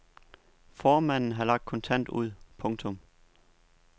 Formanden har lagt kontant ud. punktum